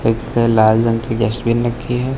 एक लाल रंग की डस्टबिन रखी है।